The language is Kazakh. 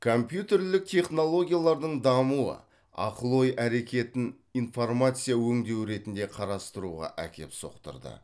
компьютерлік технологиялардың дамуы ақыл ой әрекетін информация өңдеу ретінде қарастыруға әкеп соқтырды